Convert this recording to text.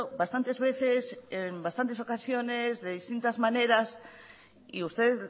bastantes veces en bastantes ocasiones de distintas maneras y usted